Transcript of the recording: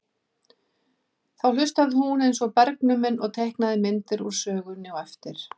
Þá hlustaði hún eins og bergnumin og teiknaði myndir úr sögunni á eftir.